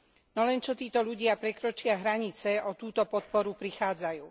No len čo títo ľudia prekročia hranice, o túto podporu prichádzajú.